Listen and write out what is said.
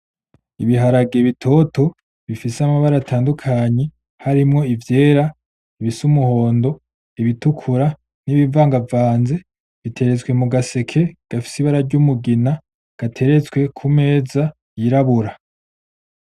Ibiharage bitoto bifise amabara atandukanye, harimwo ivyera bifise umuhondo, ibitukura n’ibivanganvanze biteretswe mugaseke gafise umugina gateretswe ku meza yirabura.